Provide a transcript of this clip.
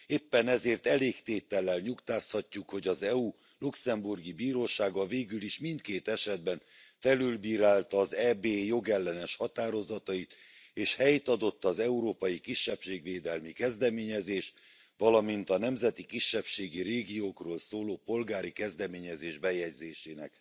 Éppen ezért elégtétellel nyugtázhatjuk, hogy az EU luxembourgi bírósága végülis mindkét esetben felülbírálta az EB jogellenes határozatait, és helyt adott az európai kisebbségvédelmi kezdeményezés, valamint a nemzeti kisebbségi régiókról szóló polgári kezdeményezés bejegyzésének.